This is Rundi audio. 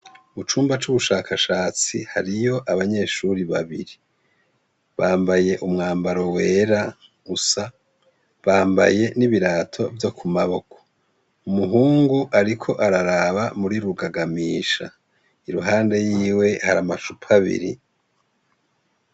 Mucumba c’ubushakashatsi hariyo abanyeshure babiri, bambaye umwambaro wera usa, bambaye n’ibirato vyo mu maboko. Umuhungu ariko araraba muri rugagamisha, iruhande yiwe hari amacupa abiri.